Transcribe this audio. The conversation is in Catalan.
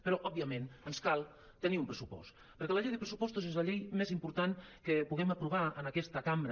però òbviament ens cal tenir un pressupost perquè la llei de pressupostos és la llei més important que puguem aprovar en aquesta cambra